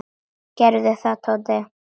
Gerðu það, Tóti!